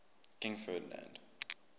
king ferdinand